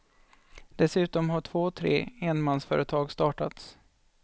Dessutom har två tre enmansföretag startats.